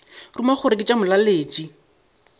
ruma gore ke tša molaletši